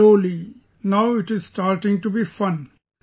Then slowly, now it is starting to be fun